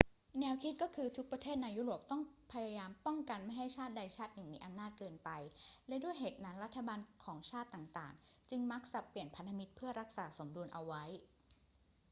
แนวคิดก็คือ ทุกประเทศในยุโรปต้องพยายามป้องกันไม่ให้ชาติใดชาติหนึ่งมีอำนาจเกินไป และด้วยเหตุนั้นรัฐบาลของชาติต่าง ๆ จึงมักสับเปลี่ยนพันธมิตรเพื่อรักษาสมดุลเอาไว้